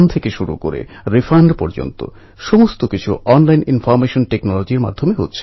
ওর এই সাফল্য উল্লেখযোগ্য এই কারণে যে ও নিজের চ্যালেঞ্জকে সাফল্যের মাধ্যম বানিয়ে নিয়েছে